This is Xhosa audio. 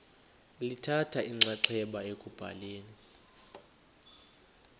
lithatha inxaxheba ekubhaleni